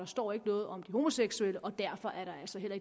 står ikke noget om de homoseksuelle og derfor er der altså heller